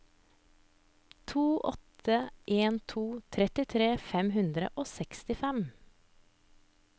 to åtte en to trettitre fem hundre og sekstifem